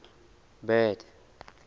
bad